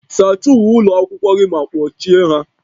Sachaa uwe ụlọ akwụkwọ gị ma kpochie ha